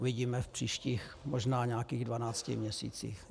Uvidíme v příštích možná nějakých dvanácti měsících.